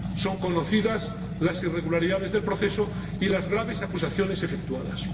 Son conocidas las irregularidades del proceso y las graves acusaciones efectuadas.